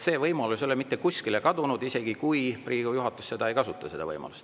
See võimalus ei ole mitte kuskile kadunud, isegi kui Riigikogu juhatus seda võimalust ei kasuta.